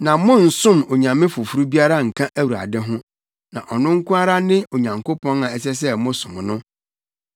Na monnsom onyame foforo biara nka Awurade ho, na ɔno nko ara ne Onyankopɔn a ɛsɛ sɛ mosom no.